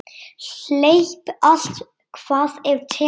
Hleyp allt hvað af tekur.